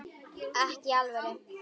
Ekki í alvöru.